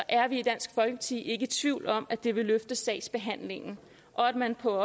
er vi i dansk folkeparti ikke i tvivl om at det vil løfte sagsbehandlingen og at man på